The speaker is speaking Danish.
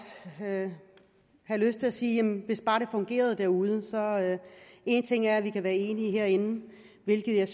have lyst til at sige jamen hvis bare det fungerede derude en ting er at vi kan være enige herinde hvilket jeg